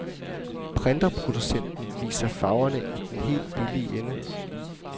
Printerproducenten viser farverne i den helt billige ende.